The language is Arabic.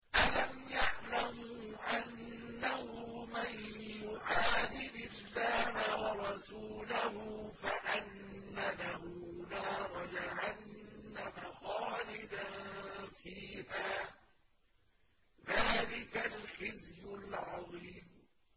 أَلَمْ يَعْلَمُوا أَنَّهُ مَن يُحَادِدِ اللَّهَ وَرَسُولَهُ فَأَنَّ لَهُ نَارَ جَهَنَّمَ خَالِدًا فِيهَا ۚ ذَٰلِكَ الْخِزْيُ الْعَظِيمُ